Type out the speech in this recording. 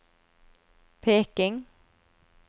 Peking